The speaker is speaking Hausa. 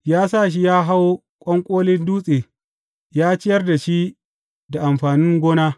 Ya sa shi ya hau ƙwanƙolin dutse ya ciyar da shi da amfanin gona.